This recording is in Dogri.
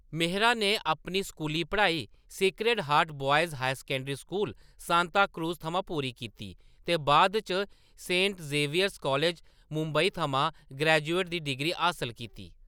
मेहरा ने अपनी स्कूली पढ़ाई Sacred Heart Boys High School, Santacruz थमां पूरी कीती, ते बाद च सेंट जेवियर्स कालज, मुंबई थमां ग्रेजुएट दा डिग्री हासल कीती।